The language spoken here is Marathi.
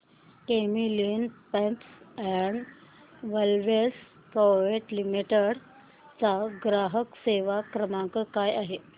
Camlin pumps and valves private limited चा ग्राहक सेवा क्रमांक काय आहे